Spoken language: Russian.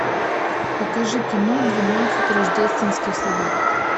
покажи кино двенадцать рождественских собак